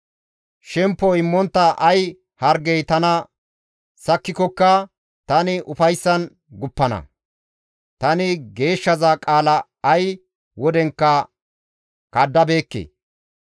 Shempo immontta ay hargey tana sakkikokka tani ufayssan guppana; tani Geeshshaza qaala ay wodenkka kaddabeekke;